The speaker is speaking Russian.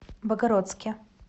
богородске